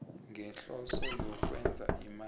ngehloso yokwenza imali